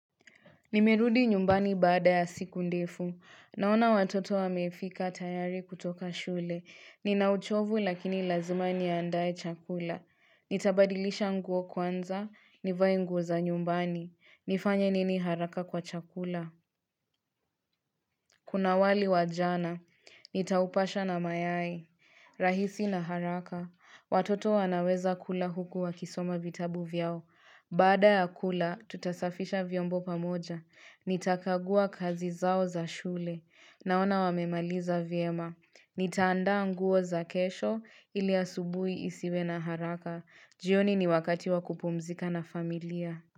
Nimerudi nyumbani baada ya siku ndefu. Naona watoto wamefika tayari kutoka shule. Ninauchovu lakini lazima niandae chakula. Nitabadilisha nguo kwanza. Nivae nguo za nyumbani. Nifanya nini haraka kwa chakula. Kuna wali wa jana. Nitaupasha na mayai. Rahisi na haraka. Watoto wanaweza kula huku wakisoma vitabu vyao. Baada ya kula, tutasafisha vyombo pamoja, nitakagua kazi zao za shule, naona wamemaliza vyema, nitaandaa nguo za kesho ili asubui isiwe na haraka, jioni ni wakati wa kupumzika na familia.